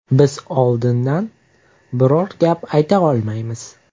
Biz oldindan biror gap aytolmaymiz.